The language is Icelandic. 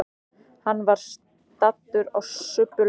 Hann var staddur á subbulegum stað.